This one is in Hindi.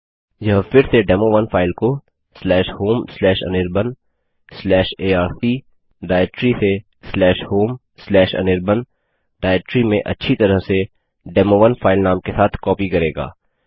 यह फिर से डेमो1 फाइल को homeanirbanarc डाइरेक्टरी से homeanirban डाइरेक्टरी में अच्छी तरह से डेमो1 फाइल नाम के साथ कॉपी करेगा